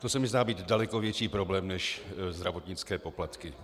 To se mi zdá být daleko větší problém než zdravotnické poplatky.